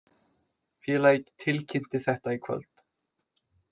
Félagið tilkynnti þetta í kvöld